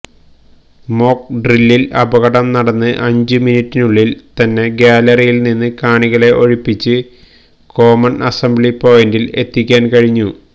മോക്ക്ഡ്രില്ലിൽ അപകടം നടന്ന് അഞ്ചു മിനിറ്റിനുള്ളിൽ തന്നെ ഗ്യാലറിയിൽ നിന്ന് കാണികളെ ഒഴിപ്പിച്ച് കോമൺ അസംബ്ലി പോയിന്റിൽ എത്തിക്കാൻ കഴിഞ്ഞു